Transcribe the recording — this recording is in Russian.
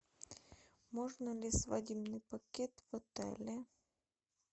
можно ли свадебный пакет в отеле